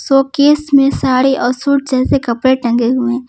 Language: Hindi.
शोकेस में साड़ी और सूट जैसे कपड़े टंगे हुए हैं।